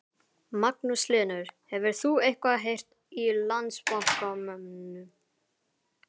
Magnús Hlynur: Hefur þú eitthvað heyrt í Landsbankamönnum?